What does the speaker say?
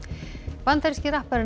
bandaríski rapparinn